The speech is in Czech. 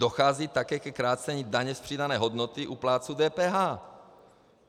Dochází také ke krácení daně z přidané hodnoty u plátců DPH.